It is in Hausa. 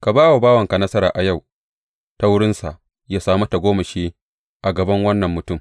Ka ba wa bawanka nasara a yau ta wurinsa yă sami tagomashi a gaban wannan mutum.